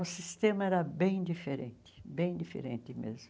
O sistema era bem diferente, bem diferente mesmo.